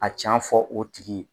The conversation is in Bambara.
A ca fɔ o tigi ye